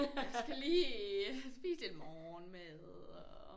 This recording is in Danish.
Jeg skal lige spise lidt morgenmad og